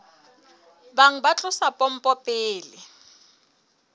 bang ba tlosa pompo pele